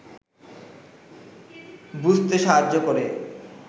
বুঝতে সাহায্য করে